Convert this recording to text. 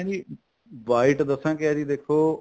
ਵੀ white ਦਸਾ ਕਿਆ ਏ ਜੀ ਦੇਖੋ